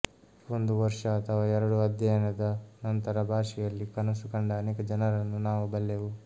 ಒಂದು ವರ್ಷ ಅಥವಾ ಎರಡು ಅಧ್ಯಯನದ ನಂತರ ಭಾಷೆಯಲ್ಲಿ ಕನಸು ಕಂಡ ಅನೇಕ ಜನರನ್ನು ನಾವು ಬಲ್ಲೆವು